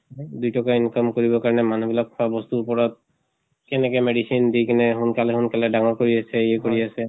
দুই টকা income কৰিব কাৰনে মানুহ বিলাক খোৱা বস্তুৰ উপৰত কেনেকে medicine দি কেনে সোনকালে সোনকালে ডাঙৰ কৰি আছে, ইয়ে কৰি আছে